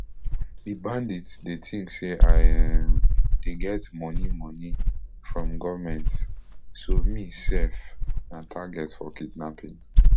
di bandits dey tink say i um dey get moni moni from goment so me sef na target for kidnapping